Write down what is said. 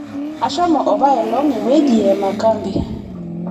ashomo apailong' ewueji ee makambi